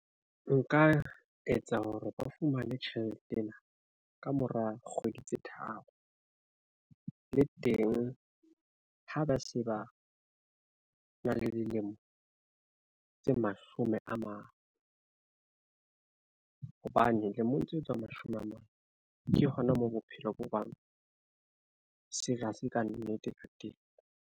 Nka etsa hore ba fumane tjhelete ena kamora kgwedi tse tharo, le teng ha ba se ba na le dilemo tse mashome a mane, hobane lemong tse etswang mashome a mane ke hona moo bophelo bo bang se re hase kannete ka.